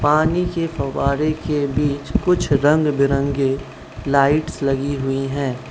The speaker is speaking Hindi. पानी के फव्वारे के बीच कुछ रंग-बिरंगे लाइट्स लगी हुई है।